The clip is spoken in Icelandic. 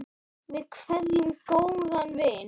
Við kveðjum góðan vin.